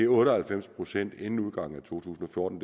otte og halvfems procent inden udgangen af to tusind og fjorten